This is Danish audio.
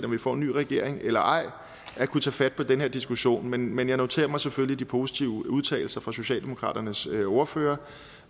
vi får en ny regering eller ej at kunne tage fat på den her diskussion men men jeg noterer mig selvfølgelig de positive udtalelser fra socialdemokraternes ordfører